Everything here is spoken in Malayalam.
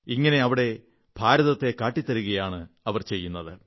ഇങ്ങനെ അവിടെ ഭാരതത്തിന്റെ ഒരു സൂക്ഷ്മ ലോകം കാട്ടിത്തരുകയാണ് ചെയ്യുന്നത്